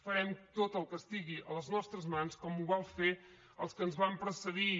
farem tot el que estigui a les nostres mans com ho van fer els que ens van precedir